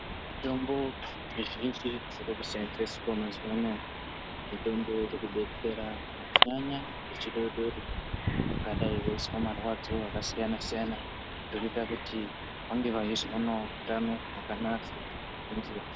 Mitombo mizhinji iri kuseenzeeswa mazuwa anaya ,mitombo iri kudetsera kunyanyanyanya vechidodori vangadai veizwa marwadzo akasiyana-siyana zviri kuita kuti vange veizoonawo utano hwakanaka ngenguwa.